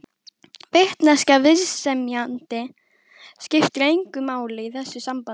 Vitneskja viðsemjenda skiptir engu máli í þessu sambandi.